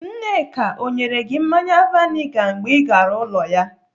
Nneka ọ nyere gị mmanya vainga mgbe ị gara ụlọ ya?